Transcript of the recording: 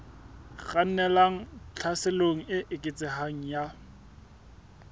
kgannelang tlhaselong e eketsehang ya